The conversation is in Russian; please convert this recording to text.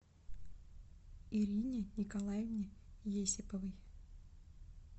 ирине николаевне есиповой